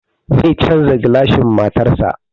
Zai canza gilacin motarsa.